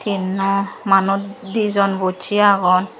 yan na manuj dijon bocche agon.